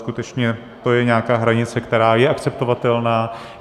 Skutečně to je nějaká hranice, která je akceptovatelná.